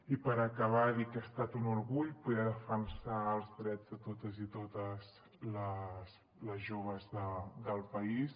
i per acabar dir que ha estat un orgull poder defensar els drets de tots i totes les joves del país